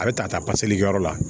A bɛ ta taa pase yɔrɔ la